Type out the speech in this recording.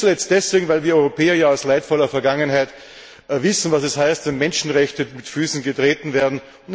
Nicht zuletzt deswegen, weil wir Europäer ja aus leidvoller Vergangenheit wissen, was es heißt, wenn Menschenrechte mit Füßen getreten werden.